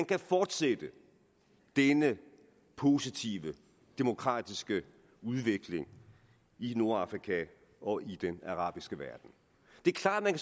kan fortsætte denne positive demokratiske udvikling i nordafrika og i den arabiske verden det er klart at